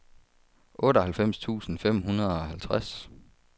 otteoghalvfems tusind fem hundrede og halvtreds